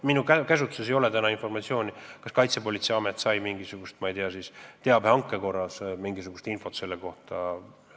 Minu käsutuses ei ole praegu informatsiooni, kas Kaitsepolitseiamet sai teabehanke korras mingisugust infot selle juhtumi kohta.